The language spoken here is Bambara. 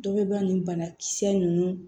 Dɔ bɛ ba nin banakisɛ ninnu